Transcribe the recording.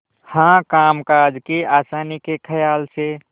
हाँ कामकाज की आसानी के खयाल से